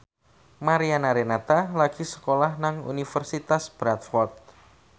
Mariana Renata lagi sekolah nang Universitas Bradford